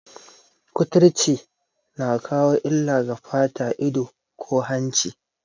Kuturci na kawo illa ga fata, ido, ko hanci